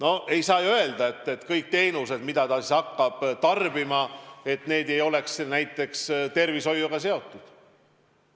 Aga ei saa ju öelda, et teenused, mida ta siis hakkab tarbima, ei ole näiteks tervishoiuga seotud.